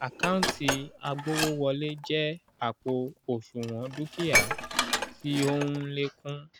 àkántì agbówówọlé jẹ́ àpò òṣùnwọ̀n dúkìá tí ó ń lékún